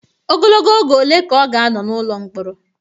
Ogologo oge ole ka ọ ga-anọ n'ụlọ mkpọrọ?